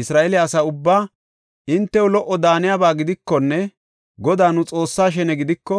Isra7eele asa ubbaa, “Hintew lo77o daaniyaba gidikonne Godaa nu Xoossaa shene gidiko,